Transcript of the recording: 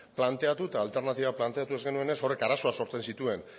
planteatu eta alternatiba planteatu ez genuenez horrek arazoak sortzen zituen